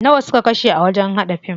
Nawa suka kashe a wajen haɗa fim?